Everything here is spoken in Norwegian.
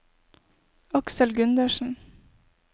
Aksel Gundersen